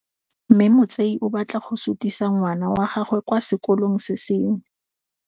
Mme Motsei o batla go sutisa ngwana wa gagwe kwa sekolong se sengwe.